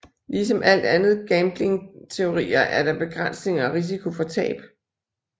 Ligesom alt andet gambling teorier er der begrænsninger og risiko for tab